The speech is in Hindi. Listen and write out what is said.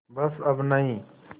बस अब नहीं